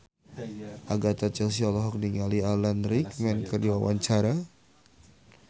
Agatha Chelsea olohok ningali Alan Rickman keur diwawancara